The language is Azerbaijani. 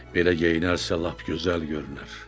Belə geyinərsə lap gözəl görünər.